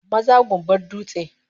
Maza gumbar dutse